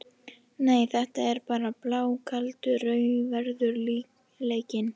Nei, þetta er blákaldur raunveruleikinn.